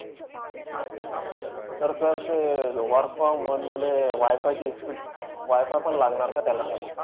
तर sir ते work from home मध्ये WiFi ची speed, WiFi पण लागणार का त्याला sir?